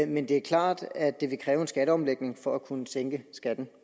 men det er klart at det vil kræve en skatteomlægning for at kunne sænke skatten